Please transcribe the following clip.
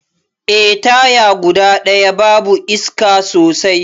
Eh, taya guda daya babu iska sosai.